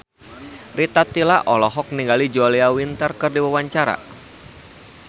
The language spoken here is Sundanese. Rita Tila olohok ningali Julia Winter keur diwawancara